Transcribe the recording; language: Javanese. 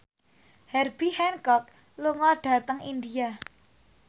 Herbie Hancock lunga dhateng India